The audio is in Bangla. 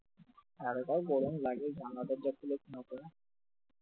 এতটাই গরম লাগে জানলা দরজা খুলে ঘুমাতে হয়